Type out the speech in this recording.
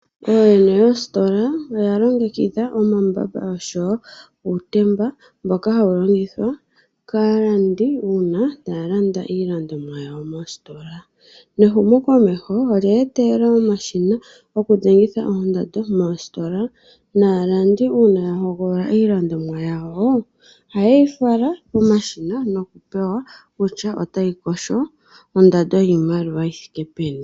Ooyene yoostola oya longekidha omambamba oshowo uutemba mboka hawu longithwa kaalandi una taya landa iilandomwa yawo mostola. Nehumo komeho olye etelela omashina goku dhengitha oondando moostola, naalandi una yahogolola iilandomwa yawo ohaye yi fala pomashina noku pewa kutya otayi kosho ondando yiimaliwa yithike peni.